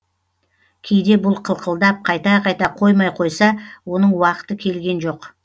кейде бұл қылқылдап қайта қайта қоймай қойса оның уақыты келген жоқ